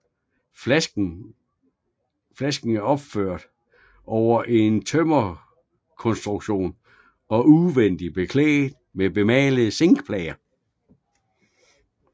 Flasken er opført over en tømmerkonstruktion og udvendigt beklædt med bemalede zinkplader